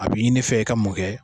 A b'i ɲini n fɛ i ka mun kɛ